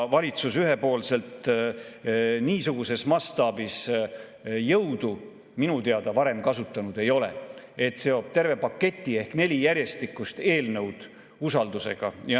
Valitsus ühepoolselt niisuguses mastaabis jõudu minu teada varem kasutanud ei ole, et seob terve paketi ehk neli järjestikust eelnõu usaldus.